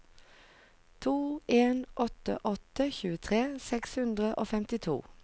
to en åtte åtte tjuetre seks hundre og femtito